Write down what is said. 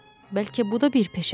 Bəlkə bu da bir peşədir?